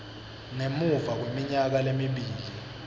ngemuva kweminyaka lemibili